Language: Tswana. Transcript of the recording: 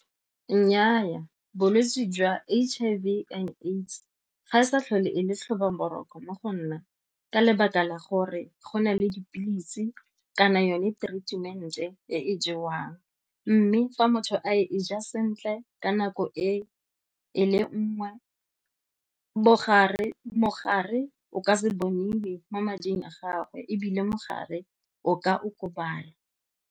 Nnyaa, bolwetse jwa H_I_V and AIDS ga e sa tlhole e le tlhoba boroko mo go nna ka lebaka la gore go na le dipilisi kana yone treatment-e e e jewang mme fa motho a e ja sentle ka nako e e le nngwe mogare o ka se boniwe mo mading a gagwe ebile mogare o ka okobala.